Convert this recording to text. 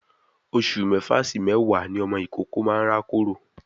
Oṣù mẹ́fà sí méwàá ni ọmọ ìkókó máa n rákòrò.